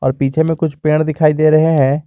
और पीछे में कुछ पेड़ दिखाई दे रहे हैं।